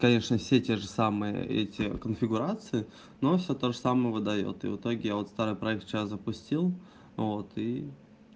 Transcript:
конечно все те же самые эти конфигурации но все тоже самое выдаёт и в итоге я вот старый проект вчера запустил и